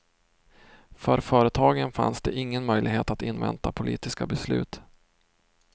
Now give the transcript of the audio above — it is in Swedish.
För företagen fanns det ingen möjlighet att invänta politiska beslut.